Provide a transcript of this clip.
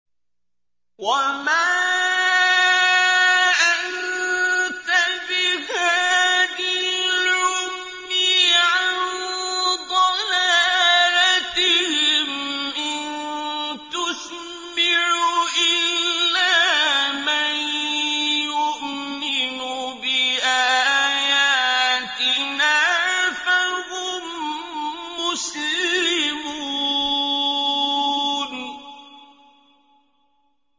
وَمَا أَنتَ بِهَادِ الْعُمْيِ عَن ضَلَالَتِهِمْ ۖ إِن تُسْمِعُ إِلَّا مَن يُؤْمِنُ بِآيَاتِنَا فَهُم مُّسْلِمُونَ